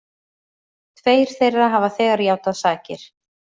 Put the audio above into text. Tveir þeirra hafa þegar játað sakir